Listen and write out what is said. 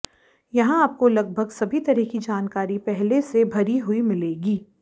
यहां आपको लगभग सभी तरह की जानकारी पहले से भरी हुई मिलेगी